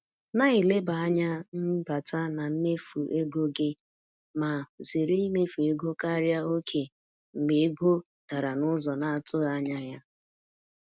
Na-eleba anya n’mbata na mmefu ego gị ma zere imefu ego karịa oke mgbe ego dara n’ụzọ na-atụghị anya ya.